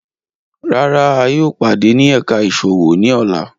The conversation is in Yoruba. Rárá, a yóò pade ni ẹka iṣowo ni ọla